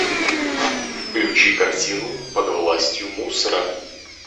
включи картину под властью мусора